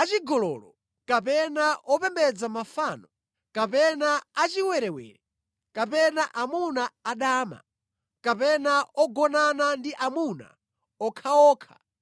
achigololo, kapena opembedza mafano, kapena achiwerewere, kapena amuna adama, kapena ogonana ndi amuna okhaokha;